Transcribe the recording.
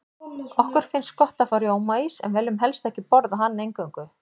Okkur finnst gott að fá rjómaís, en viljum helst ekki borða hann eingöngu.